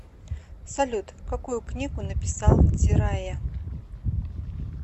салют какую книгу написал дзирайя